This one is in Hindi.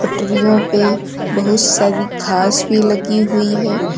पटरियों पे बहुत सारी घास भी लगी हुई है।